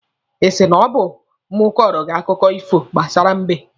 Ị sị na ọ bụ mụ kọrọ gị akụkọ ifo gbasara mbe?